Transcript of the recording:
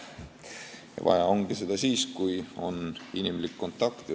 Ja vaja ongi seda siis, kui on inimlik kontakt.